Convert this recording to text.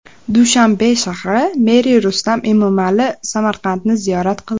Dushanbe shahri meri Rustam Emomali Samarqandni ziyorat qildi .